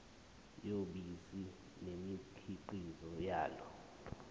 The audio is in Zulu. yobisi nemikhiqizo yalo